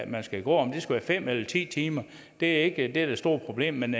man skal gå om det skal være fem eller ti timer er ikke det der er det store problem men